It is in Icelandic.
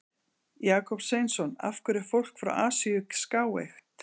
Jakob Sveinsson: Af hverju er fólk frá Asíu skáeygt?